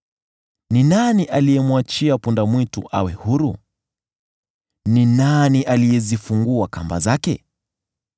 “Ni nani aliyemwachia punda-mwitu awe huru? Ni nani aliyezifungua kamba zake?